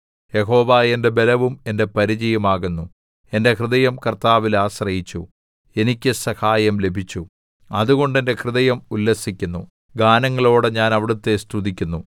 യഹോവ എന്റെ ബലവും എന്റെ പരിചയും ആകുന്നു എന്റെ ഹൃദയം കർത്താവിൽ ആശ്രയിച്ചു എനിക്ക് സഹായം ലഭിച്ചു അതുകൊണ്ട് എന്റെ ഹൃദയം ഉല്ലസിക്കുന്നു ഗാനങ്ങളോടെ ഞാൻ അവിടുത്തെ സ്തുതിക്കുന്നു